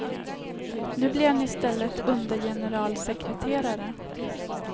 Nu blir han i stället undergeneralsekreterare.